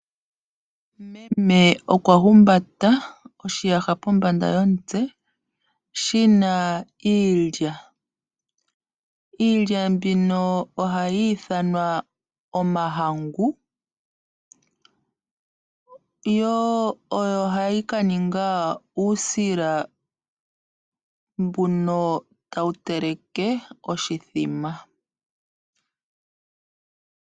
Mem okwa humbata oshiyaha kombanda yomutse shi na iilya. Iilya mbino ohayi ithanwa omahangu. Oyo hayi ka ninga uusila mbono tawu teleke oshimbombo.